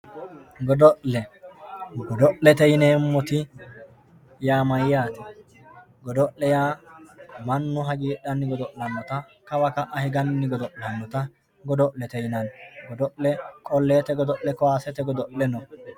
Godo'le, godo'lete yineemotti yaa mayate, godo'le yaa manu hagiidhanni gado'lanotta kawa ka'a higanni godo'lanotta gofo'lete yinanni, godo'le qolleete godo'le kaasete godo'le no